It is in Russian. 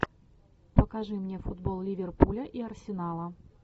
покажи мне футбол ливерпуля и арсенала